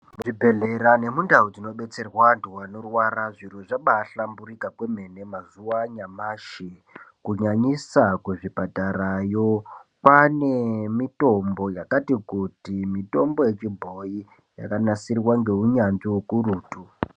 Muzvibhedhlera nemundau dzinobetserwa vantu vanorwara zviro zvabahlamburika kwemene. Mazuwa anyamashi kunyanyisa kuzvipatarayo, kwane mitombo yakati kuti mitombo yechibhoyi yakanasirwa ngehunyanzvi hukurutu.